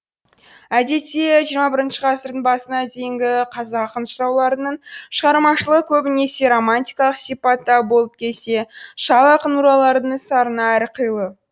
әдетте жиырма бірінші ғасырдың басына дейінгі қазақ ақын жырауларының шығармашылығы көбінесе романтикалық сипатта болып келсе шал ақын мұраларының сарыны әрқилы